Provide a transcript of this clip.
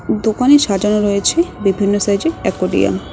দোকানে সাজানো রয়েছে বিভিন্ন সাইজের অ্যাকোরিয়াম ।